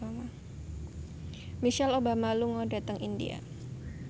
Michelle Obama lunga dhateng India